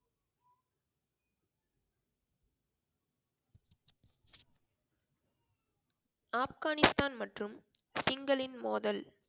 ஆப்கானிஸ்தான் மற்றும் சிங்களின் மோதல்?